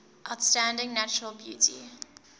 outstanding natural beauty